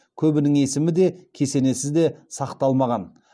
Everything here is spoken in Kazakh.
көбінің есімі де кесенесі де сақталмаған